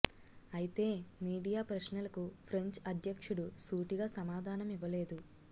అయితే మీడియా ప్రశ్నలకు ఫ్రెంచ్ అధ్యక్షుడు సూటిగా సమాధా నం ఇవ్వలేదు